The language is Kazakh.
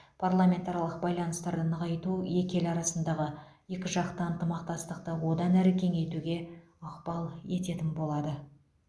парламентаралық байланыстарды нығайту екі ел арасындағы екіжақты ынтымақтастықты одан әрі кеңейтуге ықпал ететін болады